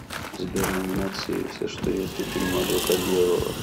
сбер номинации все что есть у фильма адвокат дьявола